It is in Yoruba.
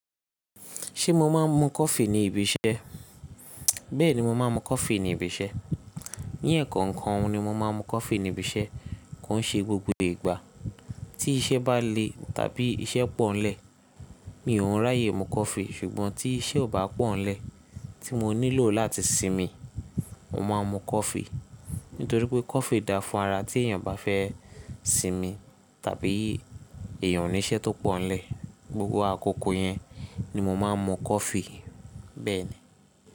Ṣé mo máa ń mu coffee ní ibi iṣẹ́? Bẹ́ẹ̀ni, mo máa ń mu coffee ní ibi iṣẹ́. Ní ẹ̀ẹ̀ko kan ni mo máa ń mu coffee ní ibi iṣẹ́, kó ṣe gbogbo ìgbà. Tí iṣẹ́ bá le tàbí iṣẹ́ pọ̀nlẹ̀, mi ò ún ráyè mu coffee, ṣùgbọ́n tí iṣẹ́ ò bá pọ̀ nlẹ̀, tí mo nílò láti sinmi, mo máa ń mu coffee. Nítorí pé coffee dá fún ara tí èèyàn bá fẹ́ sinmi, tàbí èèyàn o ní iṣẹ́ tó pọ̀ nlẹ̀. Gbogbo àkókò yẹn ni mo máa ń mu coffee. Bẹ́ẹ̀ ni.